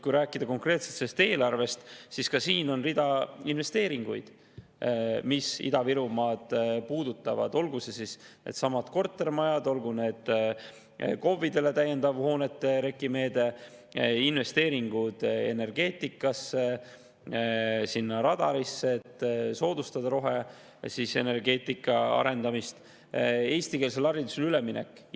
Kui rääkida konkreetselt sellest eelarvest, siis siin on rida investeeringuid, mis Ida-Virumaad puudutavad, olgu need siis kortermajadesse, olgu see täiendav REKK-i hoonete meede KOV-idele, investeeringud energeetikasse, radarisse, et soodustada roheenergeetika arendamist, ja eestikeelsele haridusele üleminekusse.